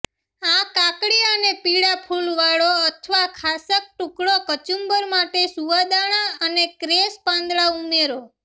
આ કાકડી અને પીળાં ફૂલવાળો અથવા ખાસક ટુકડો કચુંબર માટે સુવાદાણા અને ક્રેસ પાંદડા ઉમેરો